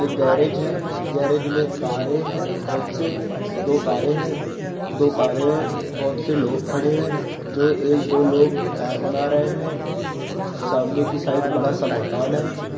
एक गैरेज है गैरेज में कारे है बोहत से दो कारे है दो कारे है बोहत से लोग खड़े है जो एक दो लोग कार बना रहे है सामने की साइड बड़ा-सा मकान है।